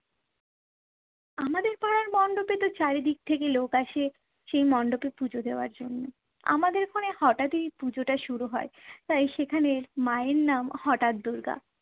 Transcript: আমাদের পাড়ার মণ্ডপে তো চারিদিক থেকে লোক আসে সেই মণ্ডপে পুজো দেওয়ার জন্য। আমাদের এখানে হঠাৎই পুজোটা শুরু হয় তাই সেখানের মায়ের নাম হঠাৎ দূর্গা।